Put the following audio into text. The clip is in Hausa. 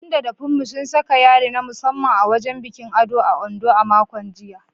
Dan da Funmi sun saka yari na musamman a wajen bikin ado a Ondo a makon jiya.